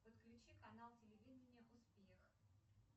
подключи канал телевидения успех